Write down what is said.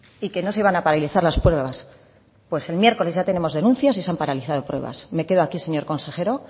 y que no se iban a paralizar las pruebas pues el miércoles ya tenemos denuncias y se han paralizado pruebas me quedo aquí señor consejero